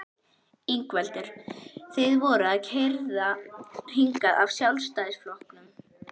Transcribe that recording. Ingveldur: Þið voruð keyrðar hingað af Sjálfstæðisflokknum?